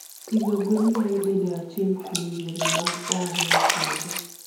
Pidho gwen nyalo bedo achiel kuom yore mag ohala e puodho.